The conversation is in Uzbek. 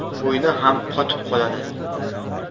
Bo‘yni ham qotib qoladi.